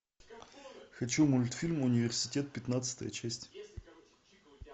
хочу мультфильм университет пятнадцатая часть